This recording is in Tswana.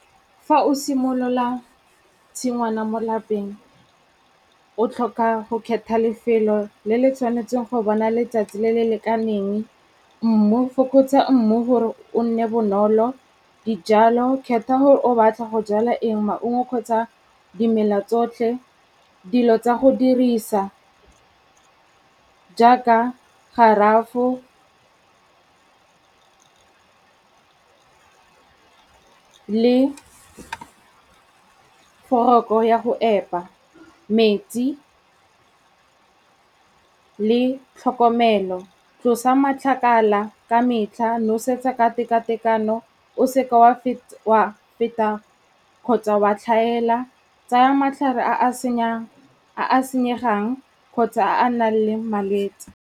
Fa o simolola tshingwana mo lapeng, o tlhoka go kgetha lefelo le le tshwanetseng go bona letsatsi le le lekaneng, fokotsa mmu gore o nne bonolo, dijalo, kgetha gore o batla go jala eng maungo kgotsa dimela tsotlhe, dilo tsa go dirisa jaaka garafo le foroko ya go epa, metsi le tlhokomelo. Tlosa matlakala ka metlha, nosetsa ka teka-tekano, o seke wa feta kgotsa wa tlhaela, tsaya matlhare a a senyegang kgotsa a nang le malwetse.